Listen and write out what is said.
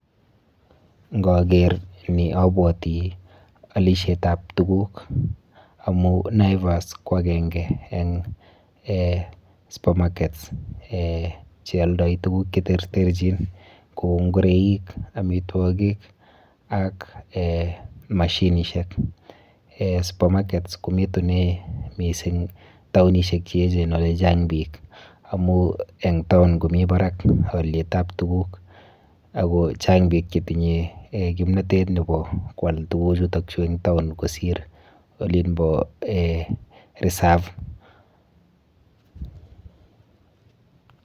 Nkaker ni abwoti alishetap tuguk amu Naivas ko akenke eng super markets eh chealdoi tuguk cheterterchin kou ngureik, amitwogik ak eh mashinishek. Eh super markets komitune mising taonishek cheechen olechang biik amu eng town komi barak alyetap tuguk ako chang biik chetinye kimnotet nepo koal tuguchuto eng town kosir olinpo reserve